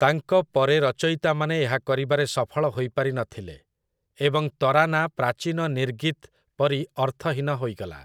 ତାଙ୍କ ପରେ ରଚୟିତାମାନେ ଏହା କରିବାରେ ସଫଳ ହୋଇପାରିନଥିଲେ, ଏବଂ ତରାନା ପ୍ରାଚୀନ ନିର୍ଗିତ୍ ପରି ଅର୍ଥହୀନ ହୋଇଗଲା ।